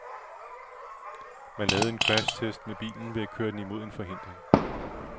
Man lavede en crashtest med bilen ved at køre den imod en forhindring.